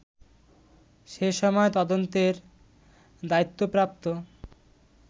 সে সময় তদন্তের দায়িত্বপ্রাপ্ত